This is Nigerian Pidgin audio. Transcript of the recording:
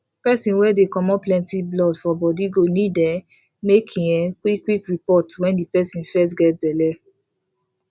persin wey dey comot plenty blood for body go need um make e um qik qik report when the persin fest get belle